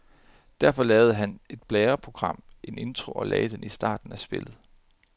Derfor lavede han et blæreprogram, en intro, og lagde den i starten af spillet.